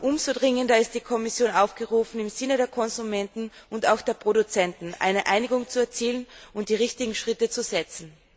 Umso dringender ist die Kommission aufgerufen, im Sinne der Konsumenten und auch der Produzenten eine Einigung zu erzielen und die richtigen Schritte zu setzen!